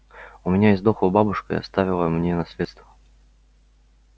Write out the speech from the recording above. у меня издохла бабушка и оставила мне наследство